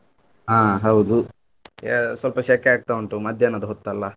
ಹಾ ಹೌದು ಯಾ~ ಸ್ವಲ್ಪ ಶೆಕೆ ಆಗ್ತಾ ಉಂಟು ಮಧ್ಯಾಹ್ನದ ಹೊತ್ತಲ್ಲ.